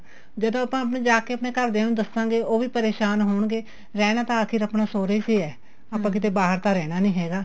ਜਦੋਂ ਆਪਾਂ ਆਪਣੇ ਜਾ ਕੇ ਘਰਦਿਆ ਨੂੰ ਦਸਾਗੇ ਉਹ ਵੀ ਪਰੇਸ਼ਾਨ ਹੋਣਗੇ ਰਹਿਣਾ ਤਾਂ ਅਖੀਰ ਆਪਣਾ ਸੋਹਰੇ ਚ ਈ ਏ ਆਪਾਂ ਕਿਤੇ ਬਾਹਰ ਤਾਂ ਰਹਿਣਾ ਨੀਂ ਹੈਗਾ